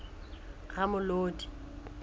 ramolodi